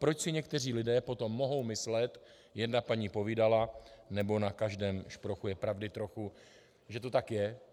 Proč si někteří lidé potom mohou myslet: jedna paní povídala nebo na každém šprochu je pravdy trochu, že to tak je?